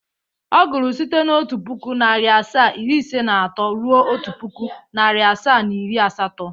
Ọ gụrụ site n'otu pụkụ, narị asaa, iri ise na atọ ruo otu pụkụ, narị asaa, na iri asatọ.